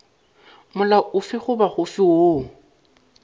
molao ofe goba ofe woo